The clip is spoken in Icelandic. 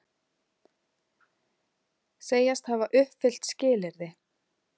Segjast hafa uppfyllt skilyrði